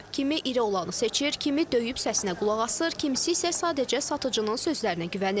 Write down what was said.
Kimi iri olanı seçir, kimi döyüb səsinə qulaq asır, kimisi isə sadəcə satıcının sözlərinə güvənir.